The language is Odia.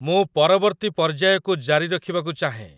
ମୁଁ ପରବର୍ତ୍ତୀ ପର୍ଯ୍ୟାୟକୁ ଜାରି ରଖିବାକୁ ଚାହେଁ